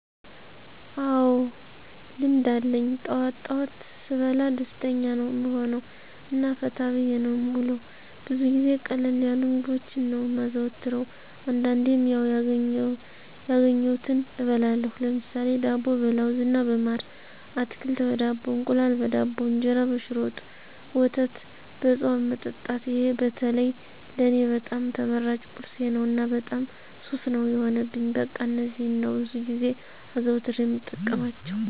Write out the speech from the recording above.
አዎ ልምድ አለኝ ጠዋት ጠዋት ስበላ ደስተኛ ነዉ እምሆነዉ እና ፈታ ብየ ነዉ እምዉለዉ። ብዙ ጊዜ ቀለል ያሉ ምግቦችን ነዉ እማዘወትር አንዳንዴም ያዉ ያገኘዉትን እበላለሁ ለምሳሌ፦ ዳቦ በለዉዝ እና በማር፣ አትክልት በዳቦ፣ እንቁላል በዳቦ፣ እንጀራ በሽሮ ወጥ፣ ወተት በፅዋ መጠጣት ይሄ በተለይ ለኔ በጣም ተመራጭ ቁርሴ ነዉ እና በጣም ሱስ ነዉ የሆነብኝ በቃ እነዚህን ነዉ ብዙ ጊዜ አዘዉትሬ እምጠቀማቸዉ።